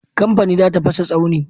Kamfani za ta fasa tsauni.